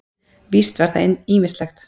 Víst var það ýmislegt.